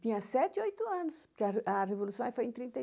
Tinha sete, oito anos, porque a a revolução foi em trinta e